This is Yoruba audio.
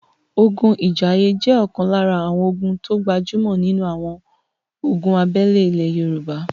ogun Ìjàìyè jẹ́ ọ̀kan lára àwọn ogun tó gbajúmọ̀ nínu àwọn ogun abẹ́lé ilẹ Yorùbá